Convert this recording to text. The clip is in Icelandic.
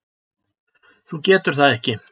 Þú getur það ekki.